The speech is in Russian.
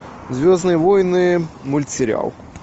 звездные войны мультсериал